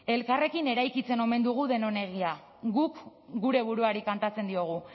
elkarrekin eraikitzen omen dugu denon herria guk gure buruari kantatzen diogu